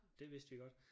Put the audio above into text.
Det vidste vi godt